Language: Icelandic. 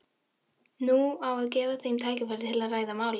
Nú á að gefa þeim tækifæri til að ræða málin.